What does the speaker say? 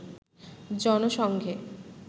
জন সংঘে